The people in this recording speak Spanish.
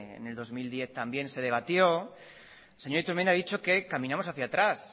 en el dos mil diez también se debatió la señora iturmendi ha dicho que caminamos hacia atrás